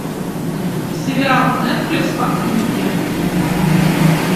сериал нетфликс по книге